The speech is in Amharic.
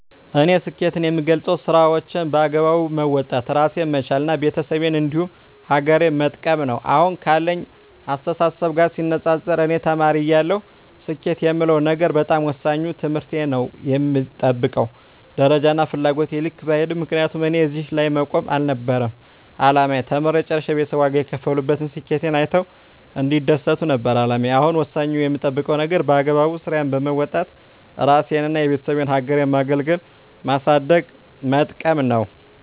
እኔ ስኬትን የምገልፀው ስራዎቸን በአግባቡ መወጣት እራሴን መቻል እና ቤተሰቤን እንዲሁም ሀገሬን መጥቀም ነው። አሁን ካለኝ አስተሳሰብ ጋር ሲነፃፀር እኔ ተማሪ እያለሁ ስኬት የምለው ነገር በጣም ወሳኙ ትምህርቴን ነው በምጠብቀው ደረጃና ፍላጎቴ ልክ ባይሄድም ምክንያቱም እኔ እዚህ ላይ መቆም አልነበረም አላማዬ ተምሬ ጨርሸ ቤተሰብ ዋጋ የከፈሉበትን ስኬቴን አይተው እንዲደሰቱ ነበር አላማዬ አሁን ወሳኙ የምጠብቀው ነገር በአግባቡ ስራዬን በወጣት እራሴንና የቤተሰቤን ሀገሬን ማገልገልና ማሳደግና መጥቀም ነው።